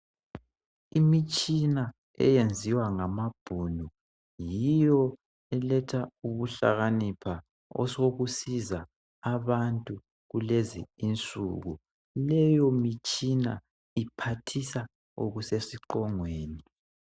Imitshina eyenziwa ngamabhuniu, yiyo eletha ukuhlakanipha osokusiza abantu kulezi insuku. Leyo mitshina iphathisa osesiqongweni.